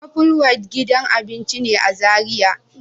Apple White gidan abinci ne a Zaria.